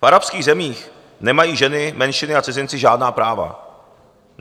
V arabských zemích nemají ženy, menšiny a cizinci žádná práva.